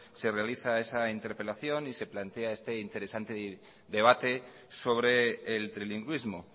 se realiza esa interpelación y se plantea este interesante debate sobre el trilingüismo